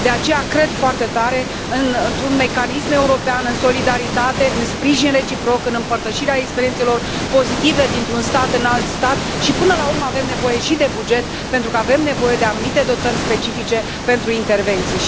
De aceea, cred foarte tare într un mecanism european, în solidaritate, în sprijin reciproc, în împărtășirea experiențelor pozitive dintr un stat în alt stat și, până la urmă, avem nevoie și de buget, pentru că avem nevoie de anumite dotări specifice pentru intervenții.